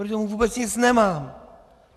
Proti tomu vůbec nic nemám.